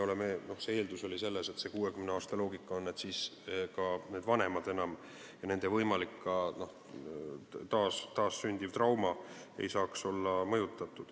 Eeldus oli selle 60 aasta loogika puhul see, et siis ka vanemad enam ei ole elus ja neid ei saaks mõjutada võimalikult taas sündiv trauma.